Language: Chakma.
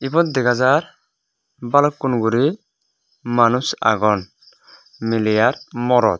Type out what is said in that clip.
ibot dega jar balukkun guri manuj agon miley ar morot.